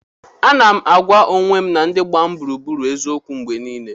Ana m agwa onwe m na ndị gbara m gburugburu eziokwu mgbe niile.